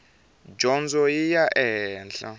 dyondzo yi ya ehenhla